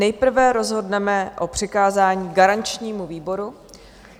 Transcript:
Nejprve rozhodneme o přikázání garančnímu výboru.